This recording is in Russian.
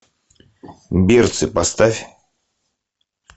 берцы поставь